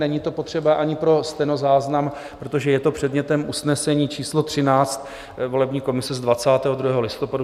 Není to potřeba ani pro stenozáznam, protože je to předmětem usnesení číslo 13 volební komise z 22. listopadu.